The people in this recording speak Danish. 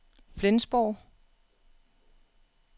Flensborg